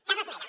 cap esmena